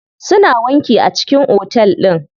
Suna wanki a cikin otel din.